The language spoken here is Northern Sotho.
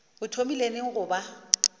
o thomile neng go ba